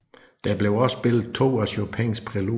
Der blev også spillet to af Chopins præludier